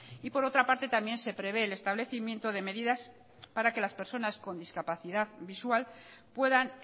y por otra parte también se prevé el establecimiento de medidas para que las personas con discapacidad visual puedan